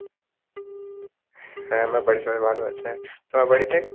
হ্যাঁ আমার বাড়ির সবাই ভালো আছে তোমার বাড়িতে?